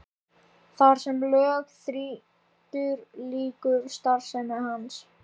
Þar sem lög þrýtur lýkur starfsemi hans.